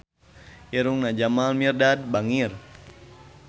Irungna Jamal Mirdad bangir